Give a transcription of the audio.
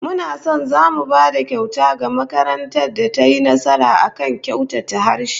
Muna son zamu ba da kyauta ga makarantar da tayi nasara a kyautata harshe